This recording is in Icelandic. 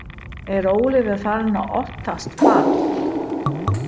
Er Ólafur farinn að óttast fall?